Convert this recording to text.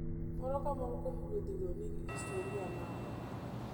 Moro ka moro kuom ruedhigo nigi histori mare.